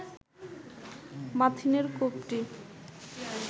মাথিনের কূপটি